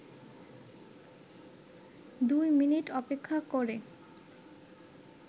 ২ minute অপেক্ষা করে